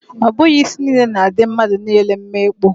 Ọ bụghị isi niile na-adị mmadụ niile mma ịkpụ.